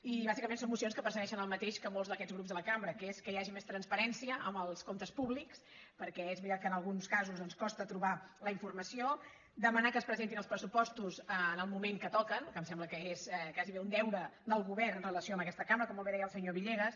i bàsicament són mocions que persegueixen el mateix que molts d’aquests grups de la cambra que és que hi hagi més transparència en els comptes públics perquè és veritat que en alguns casos en costa trobar la infor·mació demanar que es presentin els pressupostos en el moment que toca que em sembla que és gairebé un deure del govern amb relació a aquesta cambra com molt bé deia el senyor villegas